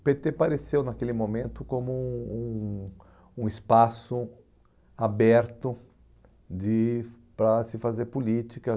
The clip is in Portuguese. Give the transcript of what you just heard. O pê tê pareceu, naquele momento, como um um um espaço aberto de para se fazer política.